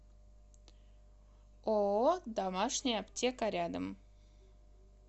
ооо домашняя аптека рядом